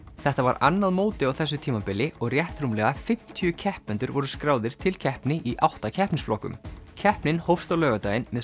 þetta var annað mótið á þessu tímabili og rétt rúmlega fimmtíu keppendur voru skráðir til keppni í átta keppnisflokkum keppnin hófst á laugardaginn með